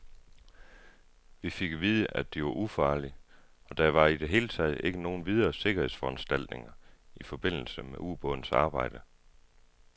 Vi fik at vide, at de var ufarlige, og der var i det hele taget ikke nogen videre sikkerhedsforanstaltninger i forbindelse med ubådens arbejde.